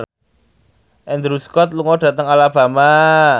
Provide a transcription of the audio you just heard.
Andrew Scott lunga dhateng Alabama